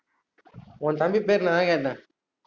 உன் தம்பி பேர் நா கேட்டேன்